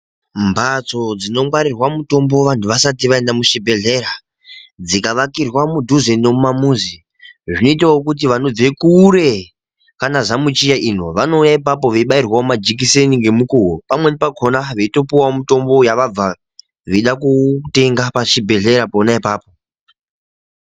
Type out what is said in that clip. Mbatso dzinongwarirwa mutombo vantu vasati vaenda muchibhedhlera, dzikavakirwa mudhuze nemumamuzi zvinoitawo kuti vanobve kure kwanaZamuchiya ino, vanouya ipapo veibairwawo majikiseni ngemukuwo pamweni pakona veitopuwawo mutambo yavabva veida kutenga pachibhedhleya pona apapo.